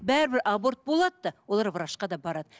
бәрібір аборт болады да олар врачқа да барады